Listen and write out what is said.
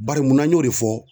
Bari mun na n y'o de fɔ ?